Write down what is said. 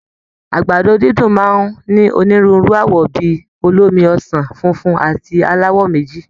Àgbàdo dídùn máa ń ní onírúurú àwọ̀ bí i olómi ọsàn, funfun àti aláwọ̀ méjì